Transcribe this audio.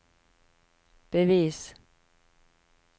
bevis